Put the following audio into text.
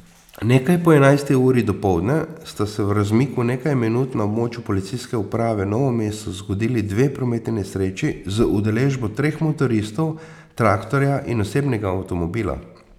Nekaj po enajsti uri dopoldne sta se v razmiku nekaj minut na območju policijske uprave Novo mesto zgodili dve prometni nesreči z udeležbo treh motoristov, traktorja in osebnega avtomobila.